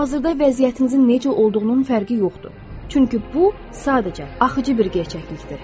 Hazırda vəziyyətinizin necə olduğunun fərqi yoxdur, çünki bu sadəcə axıcı bir gerçəklikdir.